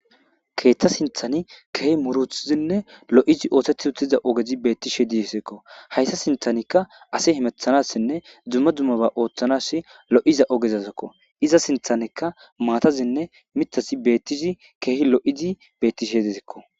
Keeththa sinthani keehi murthzinne lo'izi oothethi uttiza ogezi beettishe disekko hayta sinthanikka asi himethanassinne dzumma dzummaba ooththanas lo'iza ogezazakko iza sinthanekka maatazinne mitasi beettizi keehi lo'izi beettishe dizikko